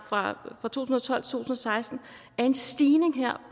fra to tusind og tolv til og seksten er en stigning